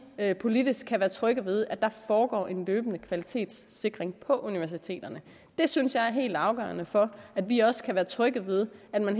at vi politisk kan være trygge ved at der foregår en løbende kvalitetssikring på universiteterne det synes jeg er helt afgørende for at vi også kan være trygge ved at man